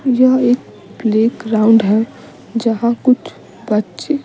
यह एक प्लेग्राउंड है जहां कुछ बच्चे।